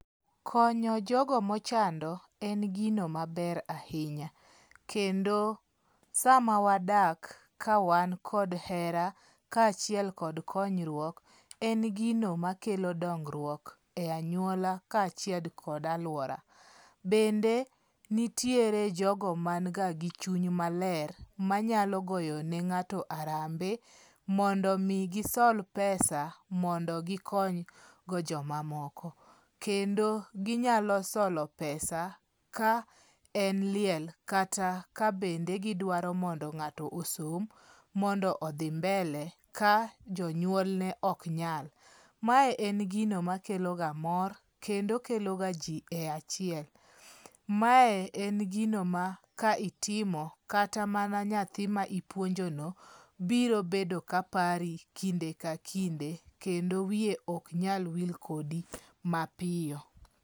Konyo jogo mochando en gino mabe ahinya kendo sama wadak kawan kod hera kaachiel kod konyruok, en gino makelo dongruok e anyuola kaachiel kod aluora. Bende nitiere jogo man ga gi chuny maler, manyalo goyo ne ng'ato arambe mondo mi gisol pesa mondo gikonygo jomamoko. Kendo ginyalo solo pesa ka en liel kata ka bende gidwaro mondo ng'ato osom mondo odhi mbele ka jonyuolne ok nyal. Mae en gino makeloga mor kendo kelo ji e achiel. Mae en gino ma ka itimo kata mana nyathi ma ipuonjono biro bedo ka pari kinde ka kinde kendo wiye ok nyal wil kodi mapiyo.